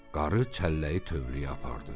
Qarı çəlləyi tövləyə apardı.